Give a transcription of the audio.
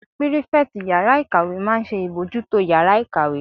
Pírífẹ̀tì yàrá-ìkàwé máa n ṣe ìbojútó yàrá-ìkàwé